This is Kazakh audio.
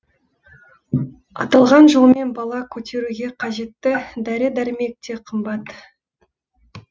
аталған жолмен бала көтеруге қажетті дәрі дәрмек те қымбат